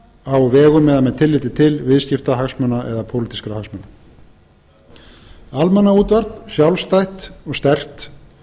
á vegum eða með tilliti til viðskiptahagsmuna eða pólitískra hagsmuna almannaútvarp sjálfstætt og sterkt